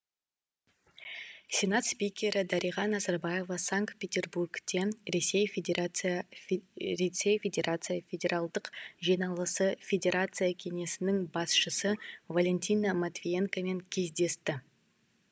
сенат спикері дариға назарбаева санкт петербургте ресей федерация федералдық жиналысы федерация кеңесінің басшысы валентина матвиенкомен кездесті